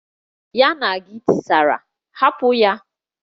Ya na gi tisara, hapụ ya!